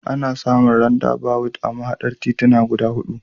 Ana samun randabawut a mahaɗar tituna guda huɗu.